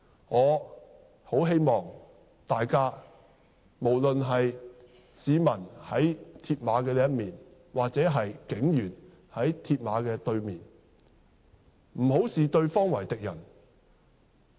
我很希望大家，無論是在鐵馬另一面的市民或在鐵馬對面的警員，不要視對方為敵人。